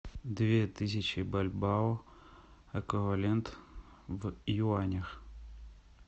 две тысячи бальбао эквивалент в юанях